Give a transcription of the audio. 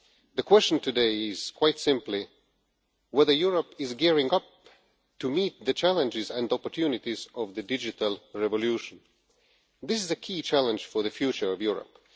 The question today is quite simply whether Europe is gearing up to meet the challenges and opportunities of the digital revolution. This is a key challenge for the future of Europe.